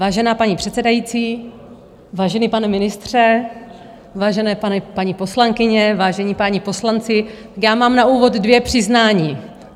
Vážená paní předsedající, vážený pane ministře, vážené paní poslankyně, vážení páni poslanci, já mám na úvod dvě přiznání.